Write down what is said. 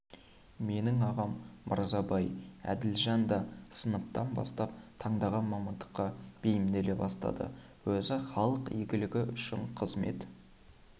менің ағам мырзабай әділжан да сыныптан бастап таңдаған мамандыққа бейімделе бастады өзі халық игілігі үшін қызмет